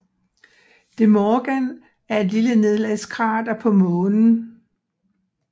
De Morgan er et lille nedslagskrater på Månen